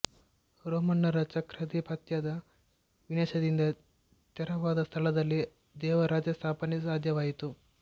ರೋಮನ್ನರ ಚಕ್ರಾಧಿಪತ್ಯದ ವಿನಾಶದಿಂದ ತೆರವಾದ ಸ್ಥಳದಲ್ಲಿ ದೇವರಾಜ್ಯ ಸ್ಥಾಪನೆ ಸಾಧ್ಯವಾಯಿತು